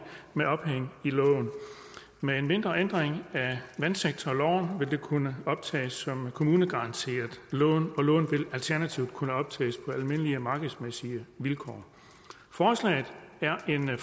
med ophæng i loven og med en mindre ændring af vandsektorloven vil det kunne optages som kommunegaranteret lån og lån vil alternativt kunne optages på almindelige markedsmæssige vilkår forslaget er en